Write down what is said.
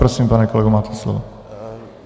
Prosím, pane kolego, máte slovo.